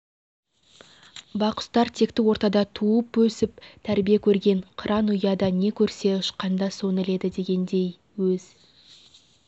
бақұстар текті ортада туып өсіп тәрбие көрген қыран ұяда не көрсе ұшқанда соны іледі дегендей өз